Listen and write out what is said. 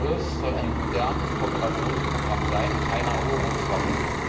ICI soll ein modernes Kooperationsprogramm sein und keine Eroberungswaffe.